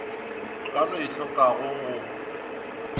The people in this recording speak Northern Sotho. ka no e tlhokago go